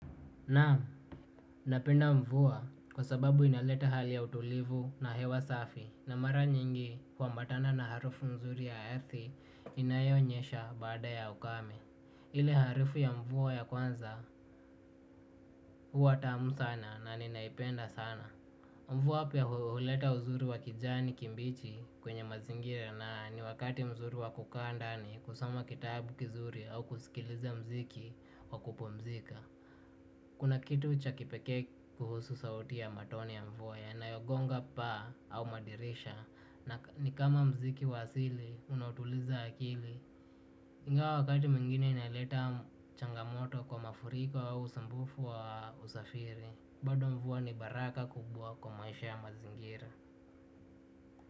Naam, napenda mvua kwa sababu inaleta hali ya utulivu na hewa safi na mara nyingi huambatana na harufu mzuri ya earthi inayonyesha baada ya ukame. Ile harufu ya mvua ya kwanza huwa tamu sana na ninaipenda sana. Mvua pia huleta uzuri wa kijani kimbichi kwenye mazingira na ni wakati mzuri wa kukanda ni kusoma kitabu kizuri au kusikiliza muziki wa kupumzika. Kuna kitu cha kipekee kuhusu sauti ya matone ya mvua yanayogonga paa au madirisha. Na ni kama muziki wa asili, unautuliza akili. Ingawa wakati mwingine inaleta changamoto kwa mafuriko au usumbufu wa usafiri. Bado mvua ni baraka kubwa kwa maisha ya mazingira.